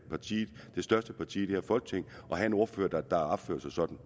største parti i det her folketing at have en ordfører der opfører sig sådan